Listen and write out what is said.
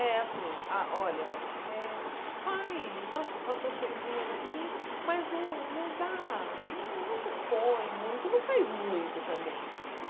É assim, ah olha, eh fa faz as as suas coisinhas aqui, mas não dá, não se expõe muito, não faz muito também.